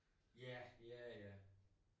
Ja. Ja ja